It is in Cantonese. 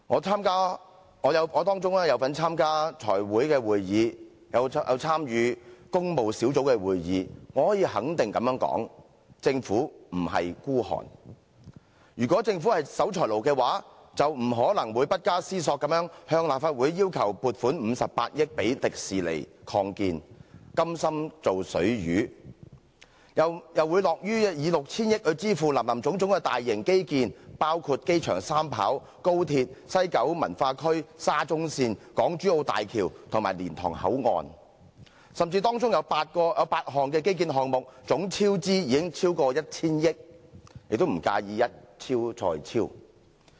在當中我參加了財務委員會的會議和工務小組委員會的會議，我可以肯定地說，政府並不孤寒，如果政府是守財奴，便不可能不加思索地向立法會要求撥款58億元予迪士尼樂園擴建，甘心"做水魚"，又會樂於以 6,000 億元來支付林林總總的大型基建，包括擴建機場第三條跑道、高鐵、西九龍文化區、沙中線、港珠澳大橋及蓮塘口岸，甚至當中有8項基建項目總超支已超過 1,000 億元，也不介意"一超再超"。